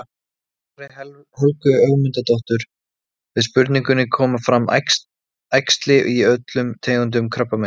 Í svari Helgu Ögmundsdóttur við spurningunni Koma fram æxli í öllum tegundum krabbameins?